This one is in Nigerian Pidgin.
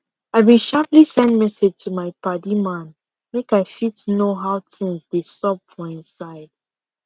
i been sharperly send message to my padi man make i fit know how things dey xup for him side